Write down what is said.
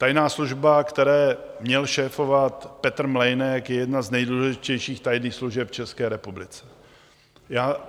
Tajná služba, které měl šéfovat Petr Mlejnek, je jedna z nejdůležitějších tajných služeb v České republice.